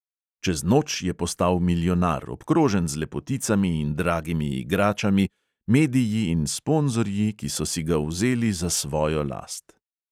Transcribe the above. Čez noč je postal milijonar, obkrožen z lepoticami in dragimi igračami, mediji in sponzorji, ki so si ga vzeli za svojo last.